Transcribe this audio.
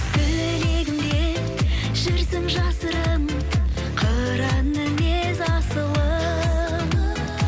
тілегімде жүрсің жасырын қыран мінез асылым